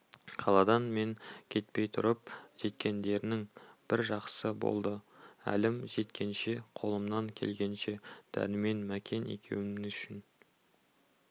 қаладан мен кетпей тұрып жеткендерің бір жақсы болды әлім жеткенше қолымнан келгенше дәрмен мәкен екеуің үшін